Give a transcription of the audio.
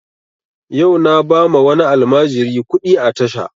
Yau na ba ma wani almajiri kuɗi a tasha